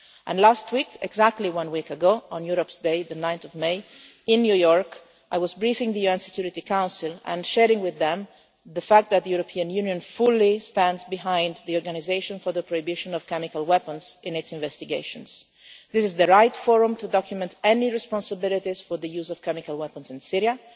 And last week, exactly one week ago, on Europe's Day, 9 May, in New York, I was briefing the UN Security Council and sharing with them the fact that the European Union fully stands behind the Organisation for the Prohibition of Chemical Weapons in its investigations this is the right forum to document any responsibilities for the use of chemical weapons in